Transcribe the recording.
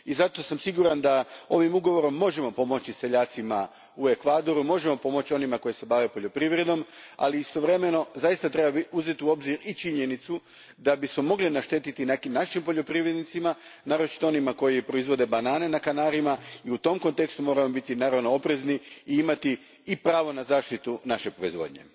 Zato sam siguran da ovim ugovorom možemo pomoći seljacima u Ekvadoru, onima koji se bave poljoprivredom, ali istovremeno treba uzeti u obzir i činjenicu da bismo mogli naštetiti nekim našim poljoprivrednicima, naročito onima koji proizvode banane na Kanarima i zato moramo biti oprezni te imati pravo na zaštitu naše proizvodnje.